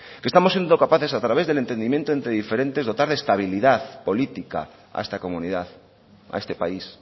que estamos siendo capaces a través del entendimiento entre diferentes dotar de estabilidad política a esta comunidad a este país